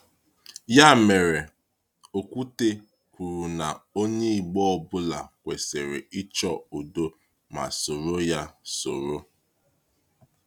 Ya mere, Ọ́kwú́tè kwuru na onye Igbo ọ bụla kwesịrị ‘ịchọ udo ma soro ya soro.’